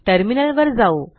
टर्मिनलवर जाऊ